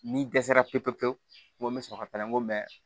Ni dɛsɛra pepe pewu n ko n bɛ sɔrɔ ka n ko mɛ